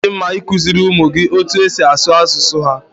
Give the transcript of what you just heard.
Ọ na-adi mma i kuziri ụmụ gị etu e si asụ asụsụ ha